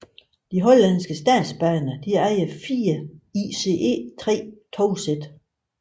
De hollandske statsbaner ejer fire ICE 3 togsæt